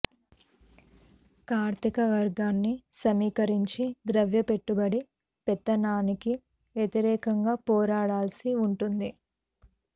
కార్మిక వర్గాన్ని సమీకరించి ద్రవ్య పెట్టుబడి పెత్తనానికి వ్యతిరేకంగా పోరాడాల్సి వుంటుంది